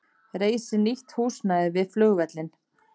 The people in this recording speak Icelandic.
Reisi nýtt húsnæði við flugvöllinn